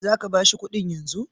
Za ka ba shi kuɗin yanzu?